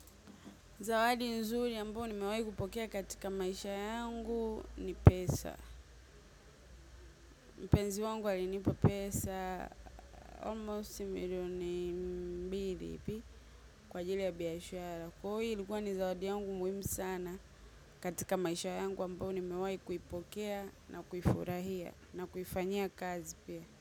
Zawadi nzuri ambayo nimewahi kupokea katika maisha yangu ni pesa. Mpenzi wangu alinipa pesa almost millioni mbili hivi kwa ajili ya biashara. Kwa hio ilikuwa ni zawadi yangu muhimu sana katika maisha yangu ambayo nimewahi kuipokea na kuifurahia na kuifanyia kazi pia.